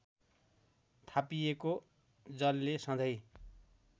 थापिएको जलले सधैँ